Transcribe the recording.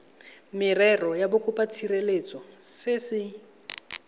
merero ya bokopatshireletso se se